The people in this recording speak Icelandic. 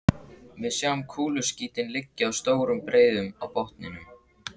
Við sjáum kúluskítinn liggja í stórum breiðum á botninum.